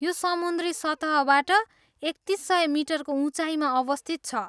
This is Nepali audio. यो समुन्द्री सतहबाट एकतिस सय मिटरको उचाइमा अवस्थित छ।